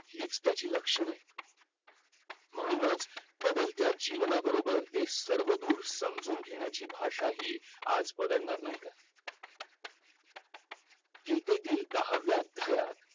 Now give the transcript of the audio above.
हीच त्याची लक्षण आहेत म्हणूनच बदलत्या जीवना बरोबर ते सर्व दूर समजून घेणारी भाषा ही आज बदलणार नाय का गीतेतील दहाव्या अध्यायात